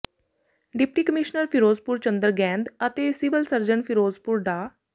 deputy commissioner Ferozepur Chander Gaind ਅਤੇ civil surgeon Ferozepur ਡਾ